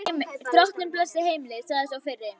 Drottinn blessi heimilið, sagði sá fyrri.